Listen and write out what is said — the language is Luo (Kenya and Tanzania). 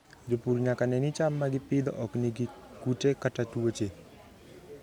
Jopur nyaka ne ni cham ma gipidho ok nigi kute kata tuoche.